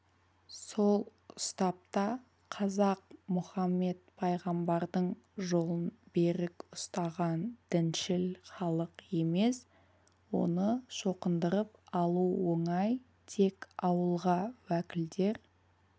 сол ұстапта қазақ мұхамбет пайғамбардың жолын берік ұстаған діншіл халық емес оны шоқындырып алу оңай тек ауылға уәкілдер